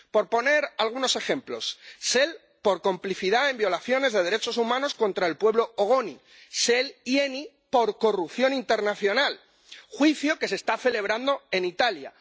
Por poner algunos ejemplos Shell, por complicidad en violaciones de derechos humanos contra el pueblo ogoni Shell y Eni, por corrupción internacional —juicio que se está celebrando en Italia―